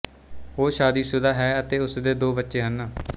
ਉਹ ਸ਼ਾਦੀਸ਼ੁਦਾ ਹੈ ਅਤੇ ਉਸਦੇ ਦੋ ਬੱਚੇ ਹਨ